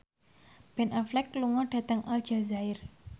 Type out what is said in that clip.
Ben Affleck lunga dhateng Aljazair